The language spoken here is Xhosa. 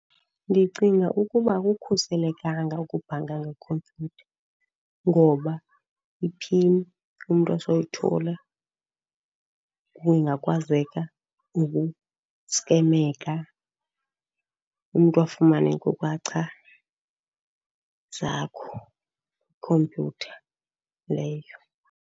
Ndicinga ukuba akukhuselekanga ukubhanka ngekhompyutha ngoba i-pin umntu asoyithola kungakwazeka ukuskemeka. Umntu afumane iinkcukacha zakho kwikhompyutha leyo.